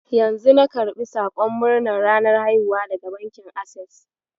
Yanzu na karɓi sakon murnar ranar haihuwa daga bankin Ases.